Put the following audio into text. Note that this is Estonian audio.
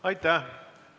Aitäh!